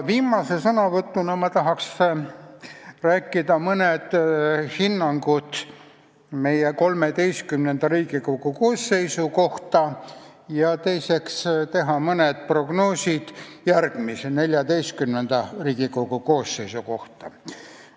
Viimase sõnavõtuna ma tahan öelda mõned hinnangud meie, XIII Riigikogu koosseisu kohta ja teiseks teha mõned prognoosid järgmise, XIV Riigikogu koosseisu kohta.